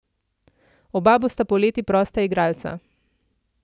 Oba bosta poleti prosta igralca.